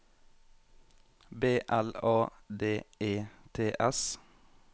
B L A D E T S